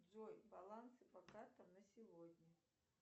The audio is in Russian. джой баланс по картам на сегодня